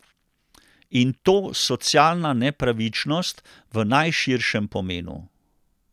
In to socialna nepravičnost v najširšem pomenu.